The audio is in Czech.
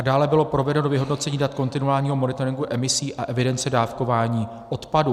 A dále bylo provedeno vyhodnocení dat kontinuálního monitoringu emisí a evidence dávkování odpadů.